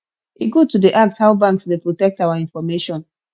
e good to dey ask how banks dey protect our information